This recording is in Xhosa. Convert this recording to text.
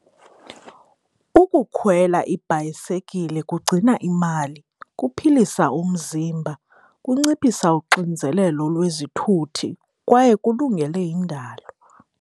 Ukukhwela ibhayisekile kugcina imali, kuphilisa umzimba, kunciphisa uxinzelelo lwezithuthi kwaye kulungele indalo.